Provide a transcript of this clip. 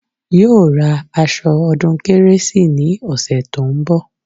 Yóò ra aṣọ ọdún kérésì ní ọ̀sẹ̀ tó ń bọ̀